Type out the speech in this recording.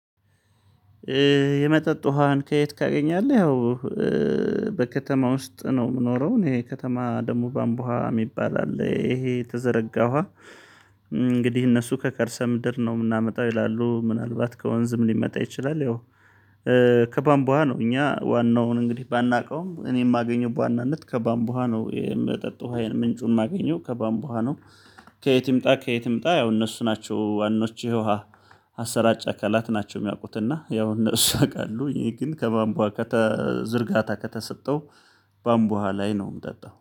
የመጠጥ ውሃን ከየት ካገኛለህ? ያው በከተማ ውስጥ ነው የምኖረው። እሄ ከተማ ደግሞ ባምቦሃ የሚባል አለ። ይሄ ተዘረጋዋ እንግዲህ እነሱ ከከርሰ ምድር ነው የምናመጣው ይላሉ ምናልባት ከወንዝም ሊመጣ ይችላል። ያው ከባምቧ ነው እኛ ዋናውን እንግዲህ ባናውቀውም እኔ የማገኘው በዋናነት ከባምቦሃ ነው የምጠጥ ውሃየን ምንጩን የማገኘው ከባምቦሃ ነው። ከየት ይምጣ ከየት ይምጣ? ያው እነሱ ናቸው ዋናዎቹ ውሃ አሰራጭ አካላት ናቸው። የሚያውቁትና ያው እነሱ ያውቃሉ ይሄ ግን ከባምቧ ከተ ዝርጋታ ከተሰጠው ባምቧ ላይ ነው የምጠጣው